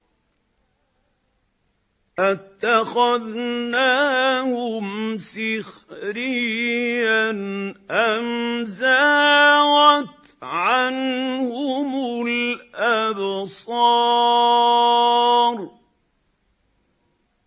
أَتَّخَذْنَاهُمْ سِخْرِيًّا أَمْ زَاغَتْ عَنْهُمُ الْأَبْصَارُ